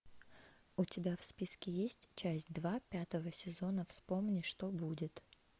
у тебя в списке есть часть два пятого сезона вспомни что будет